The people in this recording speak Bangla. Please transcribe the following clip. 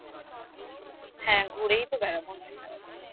হ্যাঁ ঘুরেই তো বেড়াবো আমরা সারাদিন